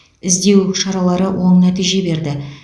іздеу шаралары оң нәтиже берді